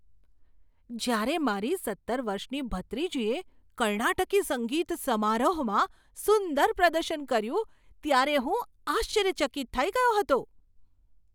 જ્યારે મારી સત્તર વર્ષની ભત્રીજીએ કર્ણાટકી સંગીત સમારોહમાં સુંદર પ્રદર્શન કર્યું ત્યારે હું આશ્ચર્યચકિત થઈ ગયો હતો.